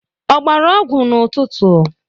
Ọ gbara ọgwụ n'ụtụtụ?